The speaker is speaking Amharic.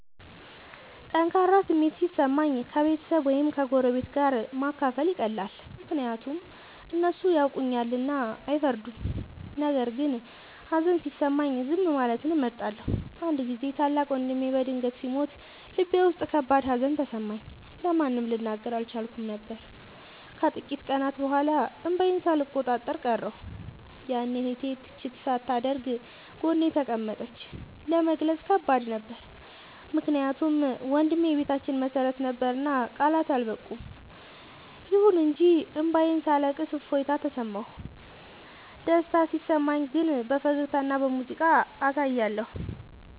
ጠንካራ ስሜት ሲሰማኝ ከቤተሰብ ወይም ከጎረቤት ጋር ማካፈል ይቀላል፤ ምክንያቱም እነሱ ያውቁኛልና አይፈርዱም። ነገር ግን ሀዘን ሲሰማኝ ዝም ማለትን እመርጣለሁ። አንድ ጊዜ ታላቅ ወንድሜ በድንገት ሲሞት ልቤ ውስጥ ከባድ ሀዘን ተሰማኝ፤ ለማንም ልናገር አልቻልኩም ነበር። ከጥቂት ቀናት በኋላ እንባዬን ሳልቆጣጠር ቀረሁ፤ ያኔ እህቴ ትችት ሳታደርግ ጎኔ ተቀመጠች። ለመግለጽ ከባድ ነበር ምክንያቱም ወንድሜ የቤታችን መሰረት ነበርና ቃላት አልበቁም። ይሁን እንጂ እንባዬን ሳለቅስ እፎይታ ተሰማሁ። ደስታ ሲሰማኝ ግን በፈገግታና በሙዚቃ አሳያለሁ።